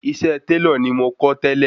Iṣẹ́ Tẹ́lọ̀ ni mo kó tẹ́lẹ̀